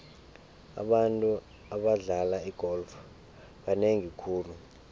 abantu abadlala igolf banengi khulu